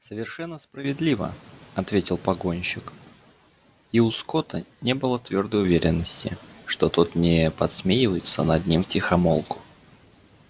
совершенно справедливо ответил погонщик и у скотта не было твёрдой уверенности что тот не подсмеивается над ним втихомолку